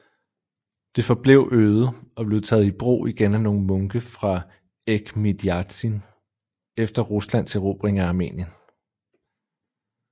Det forblev øde og blev taget i brug igen af nogle munke fra Echmiadzin efter Ruslands erobring af Armenien